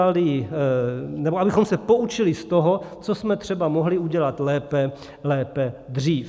A abychom se poučili z toho, co jsme třeba mohli udělat lépe dřív.